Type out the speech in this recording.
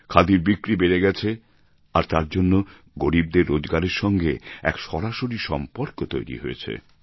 খাদির বিক্রি বেড়ে গেছে আর তার জন্য গরীবদের রোজগারের সঙ্গে এক সরাসরি সম্পর্ক তৈরি হয়েছে